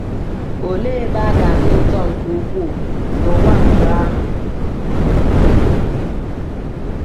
Olee ebe a ga-adị ụtọ nke ukwuu n’ụwa mgbe ahụ!